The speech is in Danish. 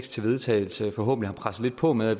til vedtagelse forhåbentlig presset lidt på med